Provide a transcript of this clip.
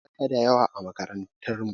Akwai tsaka da yawa a makarantar mu.